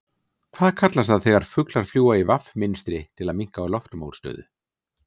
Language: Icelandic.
Hvað kallast það þegar fuglar fljúga í V mynstri til að minnka loftmótstöðu?